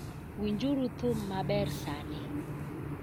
Winjuru thum maber sani.